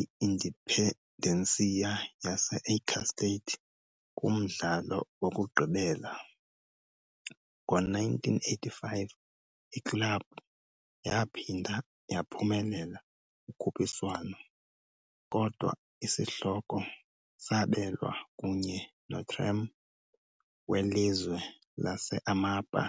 i-Independência yase-Acre state kumdlalo wokugqibela. Ngo-1985, iklabhu yaphinda yaphumelela ukhuphiswano, kodwa isihloko sabelwa kunye noTrem, welizwe lase-Amapá.